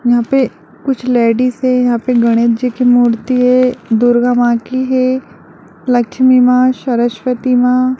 यहां पर कुछ लेडिस है यहां पर गणेश जी की मूर्ति है दुर्गा मां की है लक्ष्मी मां शरस्वति मां--